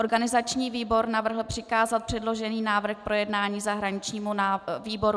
Organizační výbor navrhl přikázat předložený návrh k projednání zahraničnímu výboru.